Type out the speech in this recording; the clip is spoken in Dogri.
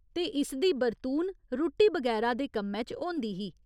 ते इसदी बरतून रुट्टी बगैरा दे कम्मै च होंदी ही।